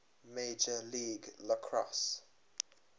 major league lacrosse